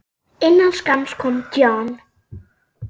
Innan skamms kom John.